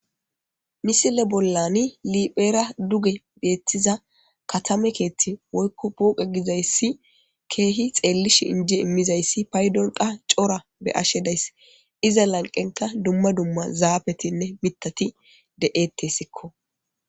misile bollani liphera duge deettiza katame keethti woykko puoqe gizayssi keehi xeellish injie immizayssi paydon qa cora be ashe dayss iza lanqenka dumma dumma zaabetinne mitati de7ettessikko